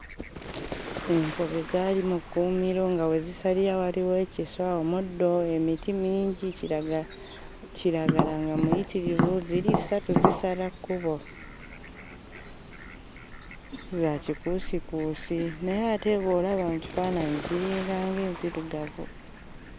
Enkobe zaali mu kkuumiro nga we zisalira waliwo ekiswa, omuddo, emiti mingi, kiraga kiragala nga muyitirivu. Ziri ssatu zisala kkubo, za kikuusikuusi naye ate bw'olaba mu kifaananyi, ziringanga enzirugavu.